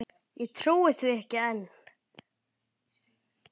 Ég trúi því ekki enn.